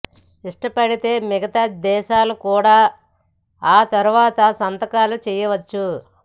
ఇష్టపడితే మిగతా దేశాలు కూడా ఆ తర్వాత సంతకాలు చేయవచ్చు